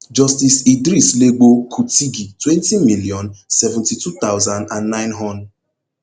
justice idris legbo kutigi twenty million, seventy-two thousand and nine hon